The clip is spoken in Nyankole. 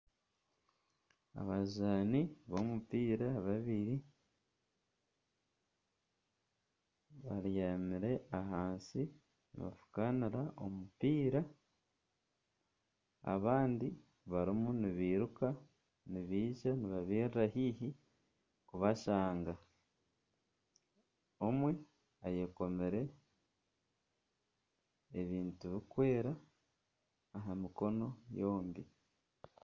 Abazaani b'omupiira babiri babyamire ahansi nibafukanira omupiira abandi barimu nibairuka nibaija nibabairira haihi kubashanga omwe ayekomire ebintu birukwera aha'mikono yombi.